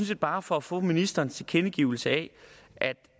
set bare for at få ministerens tilkendegivelse af